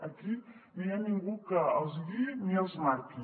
aquí no hi ha ningú que els guiï ni els marqui